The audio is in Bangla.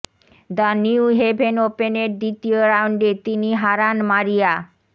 দ্য নিউ হ্যাভেন ওপেনের দ্বিতীয় রাউন্ডে তিনি হারান মারিয়া